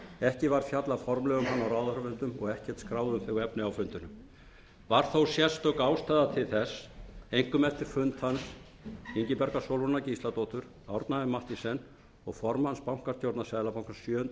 ekki var fjallað formlega um hann á ráðherrafundum og ekkert skráð um þau efni á fundunum var þó sérstök ástæða til þess einkum eftir fund þeirra ingibjargar sólrúnar gísladóttur árna m mathiesen og formanns bankastjórnar seðlabankans sjöunda